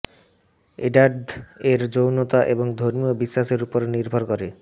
এডাদ এর যৌনতা এবং ধর্মীয় বিশ্বাসের উপর নির্ভর করে